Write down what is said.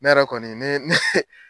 Ne yɛrɛ kɔni ne ne